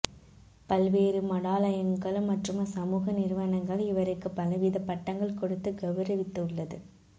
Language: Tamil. பல்வேறு மடாலயங்கள் மற்றும் சமூக நிறுவனங்கள் இவருக்கு பலவித பட்டங்கள் கொடுத்து கவுரவித்து உள்ளது